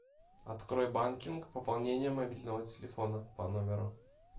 открой банкинг пополнение мобильного телефона по номеру